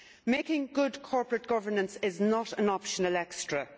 Making good corporate governance is not an optional extra.